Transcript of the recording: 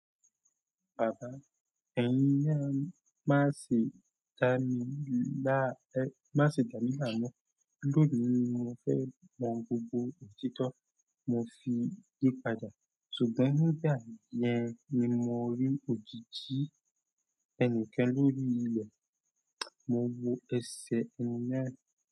"Bàbá, ẹ̀yin na má ṣe dá mi láàmú, lóní mi mo fẹ́ mọ gbogbo òtítọ́," mo fi yí padà. Ṣùgbọ́n nígbà yẹn ni mo rí òjijì ẹnìkan lórí ilẹ̀. Mo wo ẹsẹ̀ ẹnì kan.